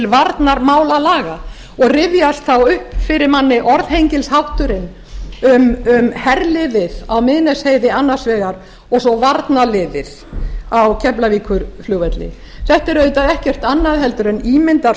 varnarmálalaga og rifjast þá upp fyrir manni orðhengilshátturinn um herliðið á miðnesheiði annars vegar og svo varnarliðið á keflavíkurflugvelli þetta er auðvitað ekkert annað en ímynd af